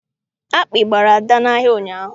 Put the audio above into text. Akpị gbara Ada n'ahịa ụnyaahụ.